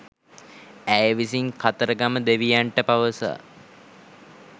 ඇය විසින් කතරගම දෙවියන්ට පවසා